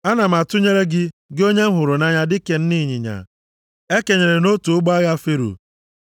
Ana m atụnyere gị, gị onye m hụrụ nʼanya dịka nne ịnyịnya e kenyere nʼotu ụgbọ agha Fero.